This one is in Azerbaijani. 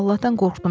Allahdan qorxdum.